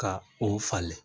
Ka o falen